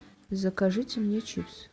закажите мне чипсы